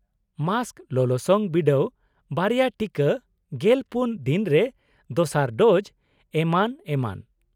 -Mask, ᱞᱚᱞᱚᱥᱚᱝ ᱵᱤᱰᱟᱹᱣ, ᱵᱟᱨᱭᱟ ᱴᱤᱠᱟ, ᱑᱔ ᱫᱤᱱ ᱨᱮ ᱫᱚᱥᱟᱨ ᱰᱳᱡ, ᱮᱢᱟᱱ ᱮᱢᱟᱱ᱾